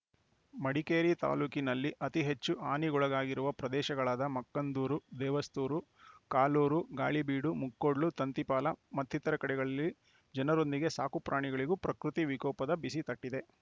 ಮಡಿಕೇರಿ ತಾಲೂಕಿನಲ್ಲಿ ಅತಿ ಹೆಚ್ಚು ಹಾನಿಗೊಳಗಾಗಿರುವ ಪ್ರದೇಶಗಳಾದ ಮಕ್ಕಂದೂರು ದೇವಸ್ತೂರು ಕಾಲೂರು ಗಾಳಿಬೀಡು ಮುಕ್ಕೊಡ್ಲು ತಂತಿಪಾಲ ಮತ್ತಿತರ ಕಡೆಗಳಲ್ಲಿ ಜನರೊಂದಿಗೆ ಸಾಕು ಪ್ರಾಣಿಗಳಿಗೂ ಪ್ರಕೃತಿ ವಿಕೋಪದ ಬಿಸಿ ತಟ್ಟಿದೆ